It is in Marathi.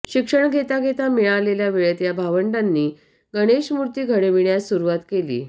शिक्षण घेता घेता मिळालेल्या वेळेत या भावंडांनी गणेश मुर्ती घडविण्यास सुरुवात केली